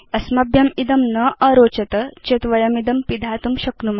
अस्मभ्यम् इदं न अरोचत चेत् वयमिदं पिधातुं शक्नुम